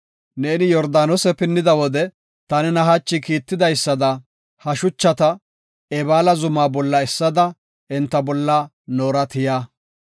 Neeni Yordaanose pinnida wode ta nena hachi kiittidaysada ha shuchata Ebaala zuma bolla essada enta bolla noora tiya.